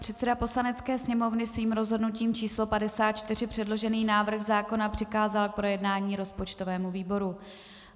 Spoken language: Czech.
Předseda Poslanecké sněmovny svým rozhodnutím č. 54 předložený návrh zákona přikázal k projednání rozpočtovému výboru.